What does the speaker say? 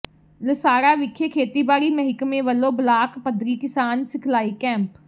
ਲਸਾੜਾ ਵਿਖੇ ਖੇਤੀਬਾੜੀ ਮਹਿਕਮੇ ਵਲੋਂ ਬਲਾਕ ਪੱਧਰੀ ਕਿਸਾਨ ਸਿਖਲਾਈ ਕੈਂਪ